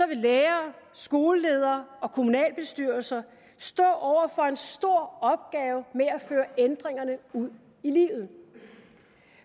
vil lærere skoleledere og kommunalbestyrelser stå over for en stor opgave med at føre ændringerne ud i livet